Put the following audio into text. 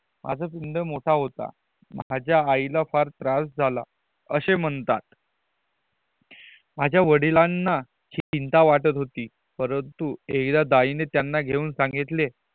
माझ कुंड मोठ होता माझ्या आईला खूप त्रास झाला अशे म्हणतात माझ्या वड़ीलाना चिंता वाटत होती परंतु एकदा दाई नि त्यान घेऊन सांगितले